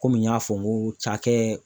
Komi n y'a fɔ n ko cakɛ